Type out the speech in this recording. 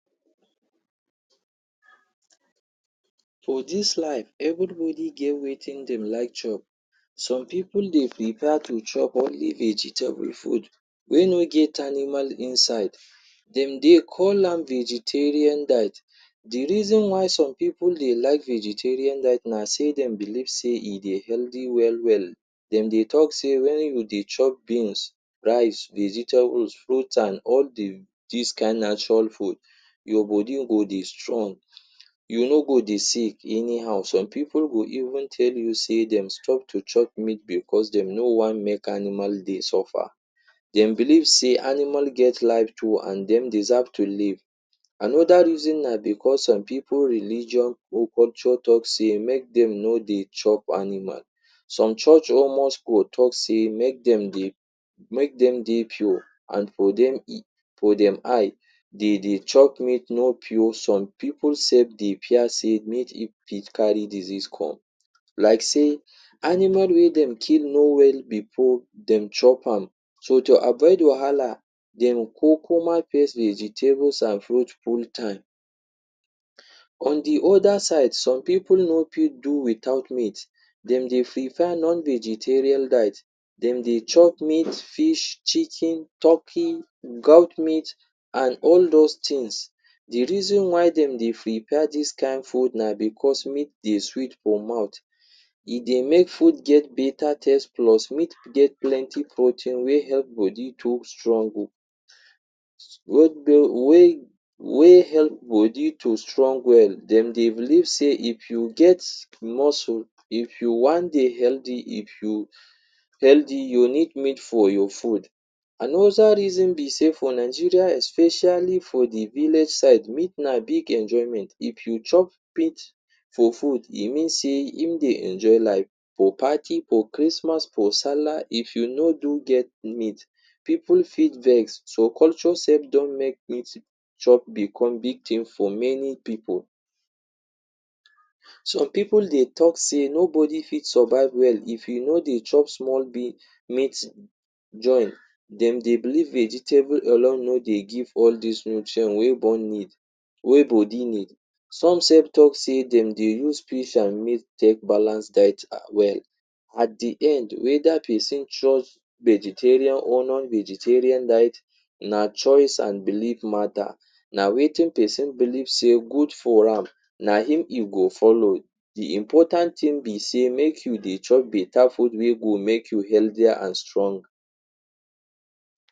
For this life, everybody get wetin dem like chop. Some pipu dey prepare to chop only vegetable food wey no get animal inside. De dey call am vegetarian diet. The reason why some pipu dey like vegetarian diet na sey dem believe sey e dey healthy well well. De dey talk say when we dey chop beans, rice, vegetables, fruits and all the dis kind natural food, um your body go dey strong, you no go dey sick anyhow. Some pipu go even tell you say dem stop to chop meat because dem no one make animal dey suffer. Dem believe sey animal get life too and dem deserve to live. Another reason na because some people religion or culture talk say make dem no dey chop animal. Some church or mosque go talk say make dem dey make dem dey pure and for dem e for dem eye de dey chop meat no pure. Some pipu say the pure say meat e if carry disease come. Like say animal wey dem kill no well before dem chop am. So to avoid wahala, dem kukuma face the vegetables and fruits full time. On the other side, some pipu no fit do without meat. De dey prefer non-vegetarian diet. De dey chop meat, fish, chicken, turkey, goat meat and all dos things. The reason why dem dey prefer dis kind food na because meat dey sweet for mouth. E dey make food get better taste plus meat get plenty protein wey help body to strong oh wey help body to strong well. De dey believe sey if you get muscle, if you one dey healthy, if you healthy you need meat for your food. Another reason be sey for Nigeria especially for the village side, meat na big enjoyment. If you chop meat for food, e means sey im dey enjoy life. For for party, for Christmas, for Salah, if you no do get meat pipu fit vex. Some culture self don make meat chop become big thing for many pipu. Some pipu dey talk say no body fit survive well if you no dey chop small small meat join. De dey believe vegetable alone no dey give all dis nutrient wey dem need, wey body need. Some self talk say dem dey use fish and meat take balance diet ha well. At the end whether pesin choose vegetarian or non-vegetarian diet, na choice and belief matter. Na wetin pesin believe sey good for am, na im e go follow. The important thing be sey make you dey chop better food wey go make you healthier and strong.